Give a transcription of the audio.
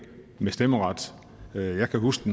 med stemmeret jeg kan huske